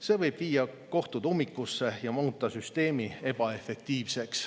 See võib viia kohtud ummikusse ja muuta süsteemi ebaefektiivseks.